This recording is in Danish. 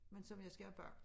Men som jeg skal have bagt